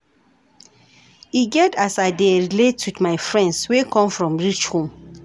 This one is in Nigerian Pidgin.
E get as I dey take relate wit my friends wey come from rich home.